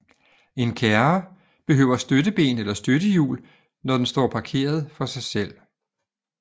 En kærre behøver støtteben eller støttehjul når den står parkeret for sig selv